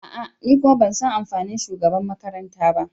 A'a! Ni kuma ban san amfani shugabanmakaranta ba.